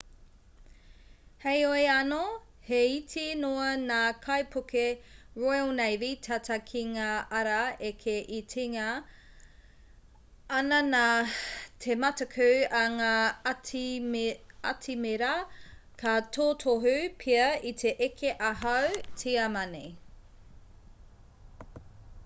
heoi anō he iti noa ngā kaipuke royal navy tata ki ngā ara eke e tinga ana nā te mataku a ngā atimira ka totohu pea i te eke ā-hau tiamani